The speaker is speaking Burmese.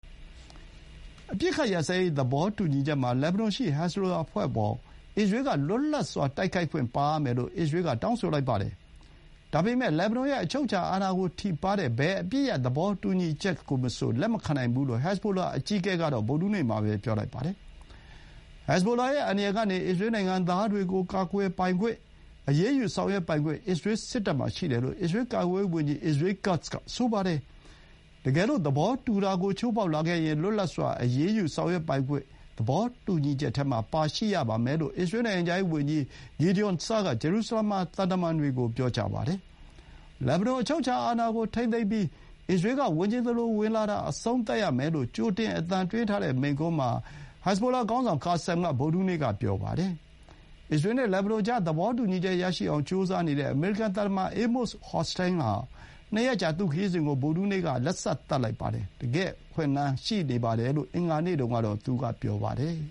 အပစ်အခတ် ရပ်စဲရေး သဘောတူညီချက်မှာ လက်ဘနွန်ရှိ ဟက်ဇ်ဘိုလာအဖွဲ့အပေါ် အစ္စရေးက လွတ်လပ်စွာ တိုက်ခိုက်ခွင့်ပါရမယ်လို့ အစ္စရေးက တောင်းဆိုလိုက်ပါတယ်။ ဒါပေမဲ့ လက်ဘနွန်ရဲ့ အချုပ်အခြာအာဏာကို ထိပါးတဲ့ ဘယ်အပစ်ရပ် သဘောတူညီချက်ကိုမဆို လက်မခံနိုင်ဘူး လို့ ဟက်ဇ်ဘိုလာ အကြီးအကဲ က ဗုဒ္ဓဟူးနေ့မှာပဲ ပြောလိုက်ပါတယ်။ ဟက်ဇ်ဘိုလာ ရဲ့ အန္တရာယ်ကနေ အစ္စရေး နိုင်ငံသားတွေကို ကာကွယ်ပိုင်ခွင့်၊ အရေးယူ ဆောင်ရွက်ပိုင်ခွင့် အစ္စရေး စစ်တပ်မှာ ရှိတယ်လို့ အစ္စရေး ကာကွယ်ရေးဝန်ကြီး Israel Katz က ဆိုပါတယ်။ တကယ်လို့ သဘောတူတာကို ချိုးဖောက်လာခဲ့ရင်၊ လွတ်လပ်စွာ အရေးယူ ဆောင်ရွက်ပိုင်ခွင့် သဘောတူညီချက်ထဲမှာ ပါရှိရပါမယ်လို့ အစ္စရေး နိုင်ငံခြားရေး ဝန်ကြီး Gideon Saar က ဂျေရူဆလမ်မှာ သံတမန်တွေကို ပြောပါတယ်။ လက်ဘနွန် အချုပ်အခြာ အာဏာကို ထိန်းသိမ်းပြီး၊ အစ္စရေး က ဝင်ချင်သလို ဝင်လာတာ အဆုံးသတ်ရမယ်လို့ ကြိုတင်အသံသွင်းထားတဲ့ မိန့်ခွန်းမှာ Kassem က ဗုဒ္ဓဟူးနေ့က ပြောပါတယ်။ အစ္စရေး နဲ့ လက်ဘနွန်ကြား သဘောတူညီချက် ရအောင်ကြိုးစားနေတဲ့ အမေရိကန် သံတမန် Amos Hochstein ဟာ ၂ ရက်ကြာ သူ့ခရီးစဥ်ကို ဗုဒ္ဓဟူးနေ့က အဆုံးသတ်လိုက်ပါတယ်။ တကယ့်အခွင့်အလမ်း ရှိနေပါတယ် လို့ အင်္ဂါနေ့တုန်းကတော့ သူက ဆိုပါတယ်